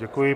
Děkuji.